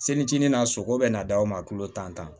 Selitinin na sogo be na da o ma tulo tan